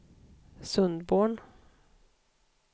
Sundborn